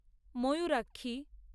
Mayurakshi